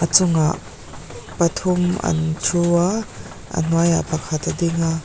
a chungah pathum an thu a ahnuai ah pakhat a ding a --